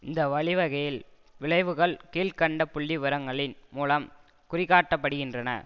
இந்த வழிவகையில் விளைவுகள் கீழ் கண்ட புள்ளிவிவரங்களின் மூலம் குறிகாட்டப்படுகின்றன